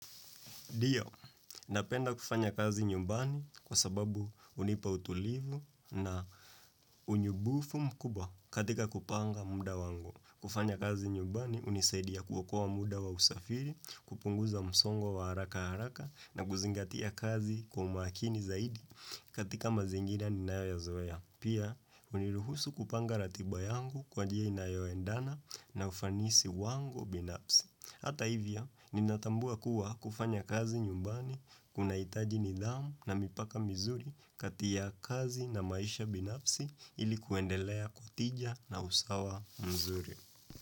Ndio, napenda kufanya kazi nyumbani kwa sababu hunipa utulivu na ubunifu mkubwa katika kupanga muda wangu. Kufanya kazi nyumbani hunisaidia kuokoa muda wa usafiri, kupunguza msongo wa haraka haraka na kuzingatia kazi kwa umaakini zaidi katika mazingira ninayoyazoea. Pia, huniruhusu kupanga ratiba yangu kwa njia inayoendana na ufanisi wangu binafsi. Hata hivyo, ninatambua kuwa kufanya kazi nyumbani, kunahitaji nidhamu na mipaka mizuri kati ya kazi na maisha binafsi ili kuendelea kutija na usawa mzuri.